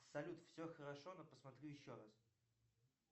салют все хорошо но посмотрю еще раз